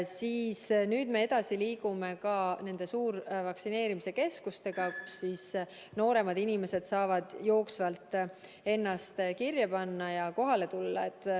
Aga nüüd me liigume edasi ka nende suurvaktsineerimise keskustega, kus nooremad inimesed saavad ennast jooksvalt kirja panna ja kohale tulla.